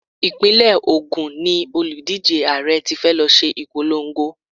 Ìpínlẹ̀ Ògún ni òlùdíje Ààrẹ tí fẹ́ lọ ṣe ìpolongo.